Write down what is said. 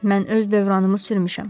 Mən öz dövranımı sürmüşəm.